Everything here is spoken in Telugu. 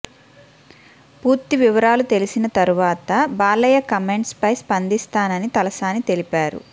పూర్తి వివరాలు తెలిసిన తరువాత బాలయ్య కామెంట్స్ పై స్పందిస్తానని తలసాని తెలిపారు